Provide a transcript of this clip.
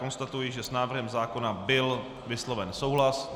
Konstatuji, že s návrhem zákona byl vysloven souhlas.